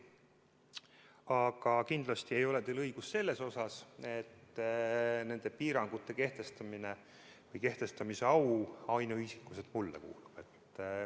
Aga kindlasti ei ole teil õigus selles, nagu nende piirangute kehtestamise au ainuisikuliselt mulle kuuluks.